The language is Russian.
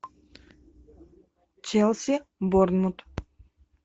челси борнмут